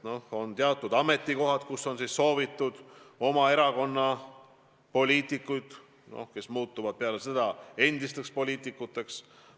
On teatud ametikohad, kus on soovitud näha oma erakonna liikmeid, kes muutuvad pärast seda endisteks poliitikuteks.